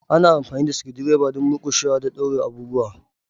Ana amfani da screwdriver don murƙushewa da daure abubuwa.